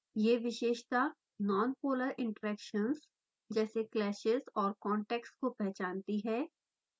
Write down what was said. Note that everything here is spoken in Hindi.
यह विशेषता नॉनपोलर इंटरेक्शन्स जैसे clashes और contacts को पहचानती है